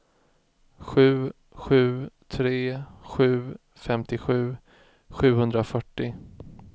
sju sju tre sju femtiosju sjuhundrafyrtio